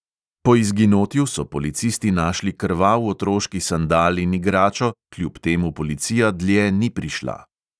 Po izginotju so policisti našli krvav otroški sandal in igračo, kljub temu policija dlje ni prišla.